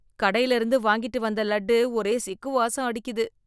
கடையில இருந்து வாங்கிட்டு வந்த லட்டு ஒரே சிக்கு வாசம் அடிக்குது.